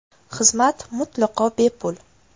Xizmat mutlaqo bepul.